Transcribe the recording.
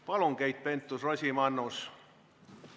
Palun, Keit Pentus-Rosimannus!